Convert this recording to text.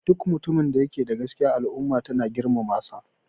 Duk mutumin da yake da gaskiya al'umma tana girmamasa